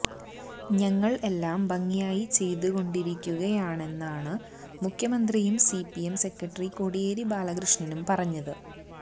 ഞങ്ങള് എല്ലാം ഭംഗിയായി ചെയ്തു കൊണ്ടിരിക്കുകയാണെന്നാണ് മുഖ്യമന്ത്രിയും സിപിഎം സെക്രട്ടറി കോടിയേരി ബാലകൃഷ്ണനും പറയുന്നത്